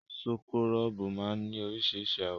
Súkúrọ́bù máa ní oríṣiríṣi àwọ̀.